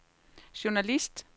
journalist